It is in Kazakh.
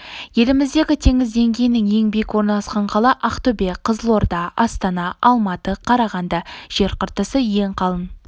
еліміздегі теңіз деңгейінен ең биік орналасқан қала ақтөбе қызылорда астана алматы қарағанды жер қыртысы ең қалың